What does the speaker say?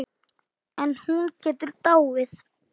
En hún getur dáið